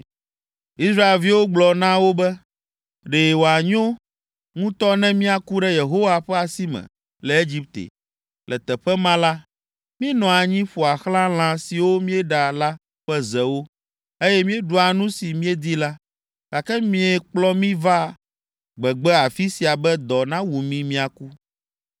Israelviwo gblɔ na wo be, “Ɖe wòanyo ŋutɔ ne míaku ɖe Yehowa ƒe asi me le Egipte! Le teƒe ma la, míenɔa anyi ƒoa xlã lã siwo míeɖa la ƒe zewo, eye míeɖua nu si míedi la, gake miekplɔ mí va gbegbe afi sia be dɔ nawu mí míaku.”